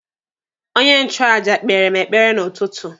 Onye nchụaja kpeere m ekpere n'ụtụtụ.